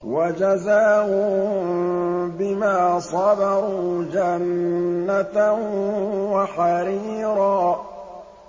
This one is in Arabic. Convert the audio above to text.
وَجَزَاهُم بِمَا صَبَرُوا جَنَّةً وَحَرِيرًا